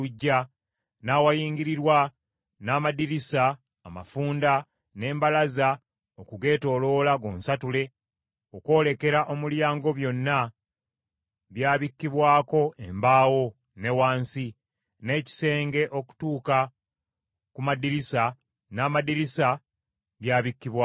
n’awayingirirwa, n’amadirisa amafunda n’embalaza okugeetooloola gonsatule, okwolekera omulyango byonna byabikkibwako embaawo, ne wansi, n’ekisenge okutuuka ku madirisa, n’amadirisa byabikkibwako.